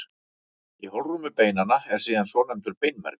Í holrúmi beinanna er síðan svonefndur beinmergur.